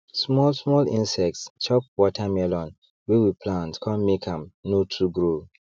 small small insects chop watermelon wey we plant con make am no too grow